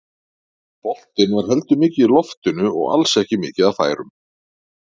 Boltinn var heldur mikið í loftinu og alls ekki mikið af færum.